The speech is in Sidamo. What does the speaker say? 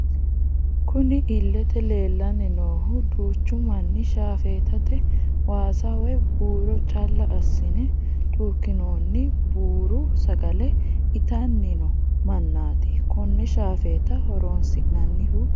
Kunni illete leelani noohu duuchu Mani shaafetate waasa woyi buurro calla assine cuukinoonni buuru sagale itanni noo manati konne shafeta horonisinannihu.....